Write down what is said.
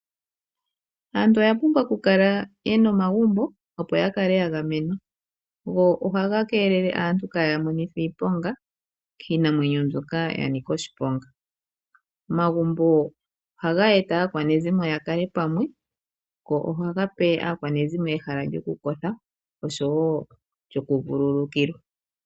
Aantu oyapumbwa okukala yena omagumbo opo yakale yagwmenwa. Go ohaga keelele aantu kayamonithwe iiponga kiinamwenyo mbyoka yanika oshiponga. Omagumbo ohaga eta aakwanezimo yakale pamwe go ohaga pe aakwanezimo ehala lyokukotha osho wo lyokuvulukila.